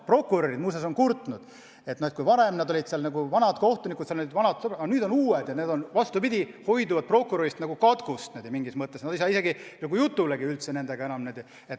Prokurörid muuseas on kurtnud, et kui varem olid ametis vanad kohtunikud, kes olid nagu vanad sõbrad, siis nüüd on uued inimesed ja need hoiduvad prokurörist nagu katkust eemale, nad ei saa isegi nagu jutule nendega.